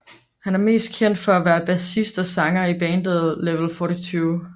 Han er mest kendt for at være bassist og sanger i bandet Level 42